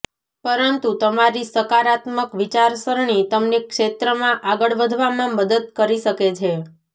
પરંતુ તમારી સકારાત્મક વિચારસરણી તમને ક્ષેત્રમાં આગળ વધવામાં મદદ કરી શકે છે